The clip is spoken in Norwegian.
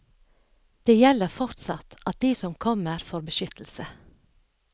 Det gjelder fortsatt at de som kommer får beskyttelse.